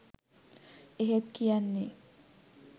එහෙත් කියන්නේ